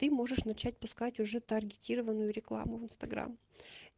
ты можешь начать пускать уже таргетированную рекламу в инстаграм